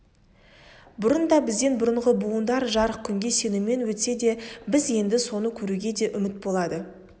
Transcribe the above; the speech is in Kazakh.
бұрын да бізден бұрынғы буындар жарық күнге сенумен өтсе біз енді соны көруге де үміт болады